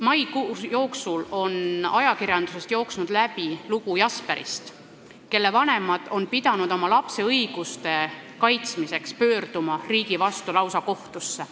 Maikuus on ajakirjandusest jooksnud läbi lugu Jasperist, kelle vanemad on pidanud oma lapse õiguste kaitsmiseks pöörduma lausa riigi vastu kohtusse.